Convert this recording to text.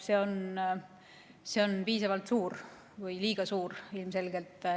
See on piisavalt suur, ilmselgelt liiga suur.